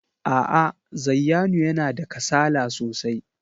A'a, Zayyanu yana da kasala sosai.